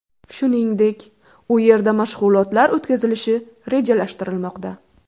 Shuningdek, u yerda mashg‘ulotlar o‘tkazilishi rejalashtirilmoqda.